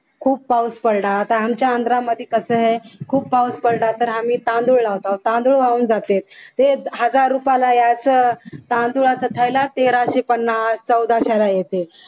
खूप पाऊस पडला तर आमच्या आंध्रा मध्ये कस आहे खूप पाऊस पडला तर आम्ही तांदूळ लावताव तांदूळ वाहून जाते ते हजार रुपयाला यायचं तांदुळाचा थेला तेराशे पन्नास चौदाशे ला येते